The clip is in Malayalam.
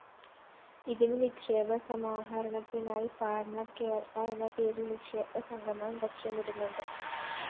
ഇതിന്‌ നിക്ഷേപ സമാഹരണത്തിനായി പാർട്ണർ കേരള എന്നപേരില്‍ നിക്ഷേപസംഗമം ലക്ഷ്യമിടുന്നുണ്ട്‌